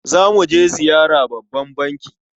Za mu je ziyara babban banki.